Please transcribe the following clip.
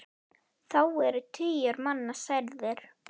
Þá eru tugir manna særðir.